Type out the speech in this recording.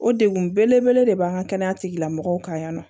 O degun belebele de b'an ka kɛnɛya tigilamɔgɔw kan yan nɔ